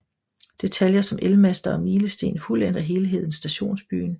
Detaljer som elmaster og milesten fuldender helheden i Stationsbyen